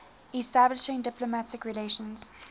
establishing diplomatic relations